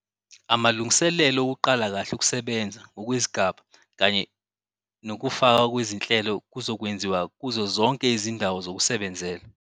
Amalungiselelo okuqala kahle ukusebenza ngokwezigaba kanye nokufakwa kwezinhlelo kuzokwenziwa kuzo zonke izindawo zokusebenzela.